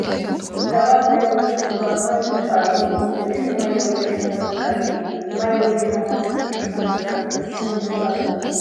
ሰባት ናይ ውሕድ ዕቋር ማይ ይቀድሑ ኣለዉ፡፡ እዚ ንማይ ወለድ ሕማማት ዘቃልዕ እዩ፡፡ ማይ ወለድ ሕማማት ንምክልኻል ተጠቀምቲ እንታይ ክገብሩ ኣለዎም?